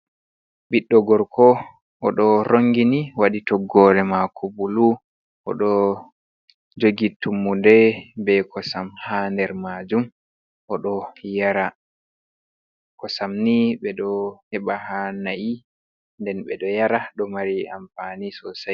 Ɓiɗɗo gorko, o ɗo rongini waɗi toggore maako bulu, o ɗo jogii i tummude be kosam ha nder maajum, o ɗo yara kosam ni ɓe ɗo heɓa haa na'i, nden ɓe ɗo yara do mari ampani sosai.